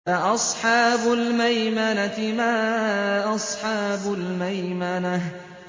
فَأَصْحَابُ الْمَيْمَنَةِ مَا أَصْحَابُ الْمَيْمَنَةِ